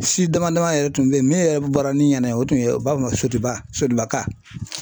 Si dama dama yɛrɛ tun be yen min yɛrɛ bɔra ni ɲɛna yen, o tun ye u b'a fɔ ma sotigiba sotigibaka